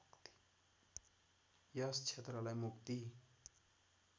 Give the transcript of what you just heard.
यस क्षेत्रलाई मुक्ति